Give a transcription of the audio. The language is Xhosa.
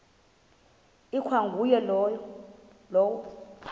ikwa nguye lowo